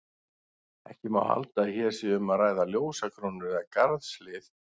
Ekki má halda að hér sé um að ræða ljósakrónur eða garðshlið.